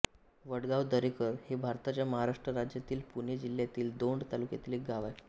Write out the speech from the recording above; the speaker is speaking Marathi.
वडगाव दरेकर हे भारताच्या महाराष्ट्र राज्यातील पुणे जिल्ह्यातील दौंड तालुक्यातील एक गाव आहे